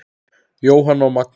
Jóhanna og Magnús.